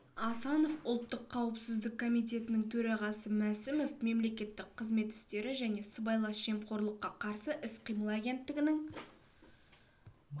асанов ұлттық қауіпсіздік комитетінің төрағасы мәсімов мемлекеттік қызмет істері және сыбайлас жемқорлыққа қарсы іс-қимыл агенттігінің